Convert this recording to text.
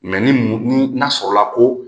ni ni n'a sɔrɔla ko